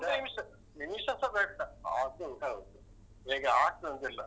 ಒಂದು ನಿಮಿಷ ನಿಮಿಷಸ ಬೇಡ ಅದು ಹೇಗೆ ಆಗ್ತದೆ ಅಂತ ಇಲ್ಲ.